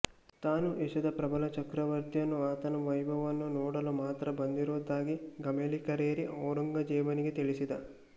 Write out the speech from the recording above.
ತಾನು ಏಷ್ಯದ ಪ್ರಬಲ ಚಕ್ರವರ್ತಿಯನ್ನೂ ಆತನ ವೈಭವವನ್ನೂ ನೋಡಲು ಮಾತ್ರ ಬಂದಿದ್ದುದಾಗಿ ಗಮೆಲ್ಲಿಕರೇರಿ ಔರಂಗ್ಜೇಬನಿಗೆ ತಿಳಿಸಿದ